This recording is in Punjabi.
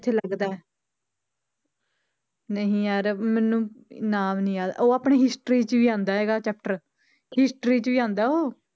ਇੱਥੇ ਲੱਗਦਾ ਹੈ ਨਹੀਂ ਯਾਰ ਮੈਨੂੰ ਨਾਮ ਨੀ ਯਾਦ ਉਹ ਆਪਣੀ history 'ਚ ਵੀ ਆਉਂਦਾ ਹੈਗਾ chapter history 'ਚ ਹੀ ਆਉਂਦਾ ਉਹ।